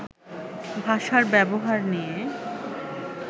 ভাষার ব্যবহার নিয়ে